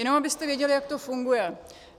Jenom abyste věděli, jak to funguje.